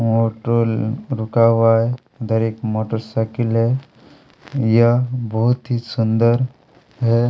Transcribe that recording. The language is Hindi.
ऑटो ल रुका हुआ है उधर एक मोटरसाइकिल है यह बहुत ही सुंदर है।